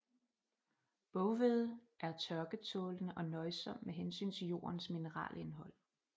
Boghvede er tørketålende og nøjsom med hensyn til jordens mineralindhold